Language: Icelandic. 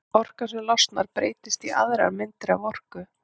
Orkan sem losnar breytist í aðrar myndir af orku.